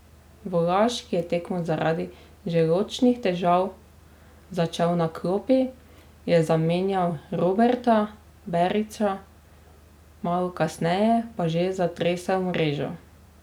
Volaš, ki je tekmo zaradi želodčnih težav začel na klopi, je zamenjal Roberta Berića, malo kasneje pa že zatresel mrežo.